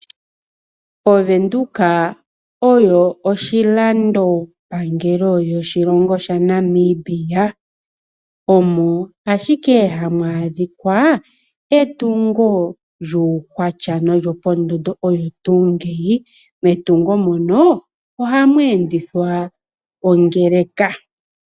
Ovenduka oyo oshilando pangelo sho shilongo shaNamibia, omo ashike hamu adhika etungo lyukwatya nolyo po ndondooyo tuu ngeyi metungo mono ohamu endithwa ongeleka.